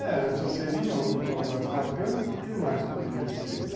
É, isso seria uma das marcantes, o que mais poderia ser?